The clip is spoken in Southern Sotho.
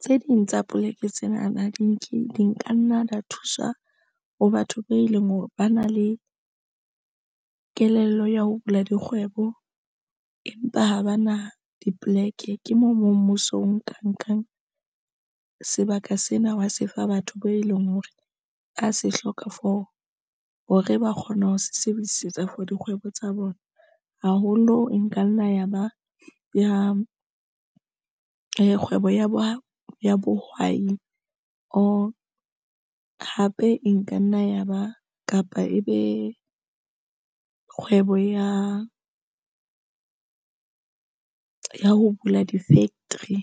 tse ding tsa poleke tsena na di nke di nkanna lo thuswa ho batho be leng hore ba na le kelello ya ho bula dikgwebo, empa ha ba na dipoleke. Ke moo mo mmuso o nka nkang sebaka sena wa se fa batho beo, e leng hore a se hloka for hore ba kgona ho sebedisetsa for dikgwebo tsa bona haholo. Nka nna ya ba ya kgwebo ya bo ya bohwai, or hape e nka nna ya ba kapa ebe kgwebo ya ho bula di-factory.